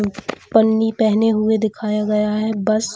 पन्नी पहने हुए दिखाया गया है बस --